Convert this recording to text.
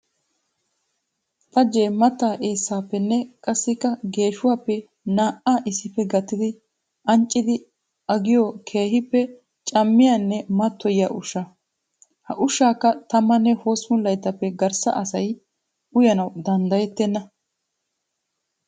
Xajje mattaa eessappenne qassikka geeshshuwappe naa'a issippe gattiddi ancciddi agiyoo keehippe camiyanne matoyiya ushsha. Ha ushshakka tammane hosppun layttappe garssa asay uyannawu danddayettenna.